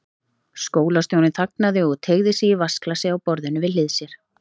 Skólastjórinn þagnaði og teygði sig í vatnsglasið á borðinu við hlið sér.